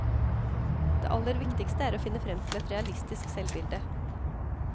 Det aller viktigste er å finne frem til et realistisk selvbilde.